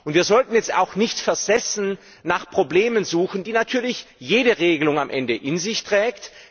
Wir sollten jetzt auch nicht versessen nach Problemen suchen, die natürlich jede Regelung am Ende in sich trägt.